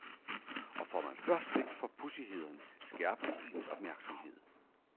Og får man først blik for pudsighederne, skærpes ens opmærksomhed.